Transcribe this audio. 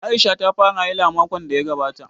Aisha ta fara haila makon da ya gabata